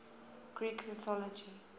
greek mythology